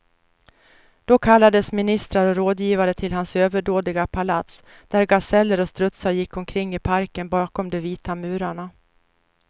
Då kallades ministrar och rådgivare till hans överdådiga palats, där gaseller och strutsar gick omkring i parken bakom de vita murarna.